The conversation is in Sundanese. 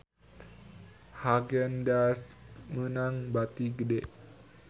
Haagen Daazs meunang bati gede